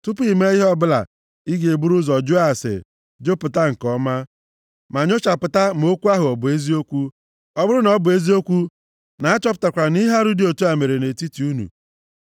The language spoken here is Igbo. tupu i mee ihe ọbụla, ị ga-eburu ụzọ jụọ ase, jụpụta nke ọma, ma nyochapụta ma okwu ahụ ọ bụ eziokwu. Ọ bụrụ na ọ bụ eziokwu na-achọpụtakwara nʼihe arụ dị otu a mere nʼetiti unu,